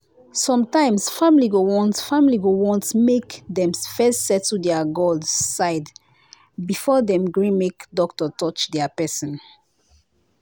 sometimes family go want family go want make dem first settle their god side before dem gree make doctor touch their person.